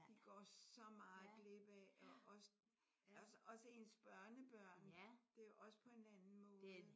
De går så meget glip af og også ens børnebørn. Det er også på en anden måde